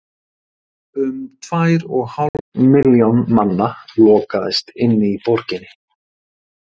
Um tvær og hálf milljón manna lokaðist inni í borginni.